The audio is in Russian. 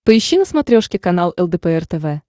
поищи на смотрешке канал лдпр тв